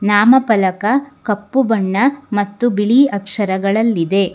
ನಾಮಫಲಕ ಕಪ್ಪು ಬಣ್ಣ ಮತ್ತು ಬಿಳಿ ಅಕ್ಷರಗಳಲ್ಲಿದೆ.